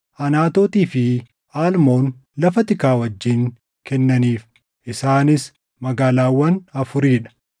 Anaatootii fi Almoon lafa tikaa wajjin kennaniif; isaanis magaalaawwan afurii dha.